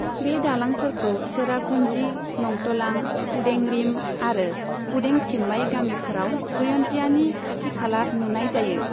बे दालांफोरखौ चेरापुन्जी, नंतलां, कुडें रिम आरो कुडें थिम्माइ गामिफोराव जयन्तियानि खाथि खाला नुनाय जायो।